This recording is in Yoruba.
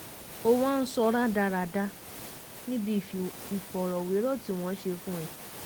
o wá ń sọ rádaràda níbi ìfọ̀rọ̀wérọ̀ tí wọ́n ṣe fún ẹ